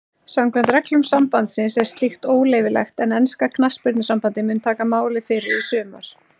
Samkvæmt reglum sambandsins er slíkt óleyfilegt en enska knattspyrnusambandið mun taka máið fyrir í sumar.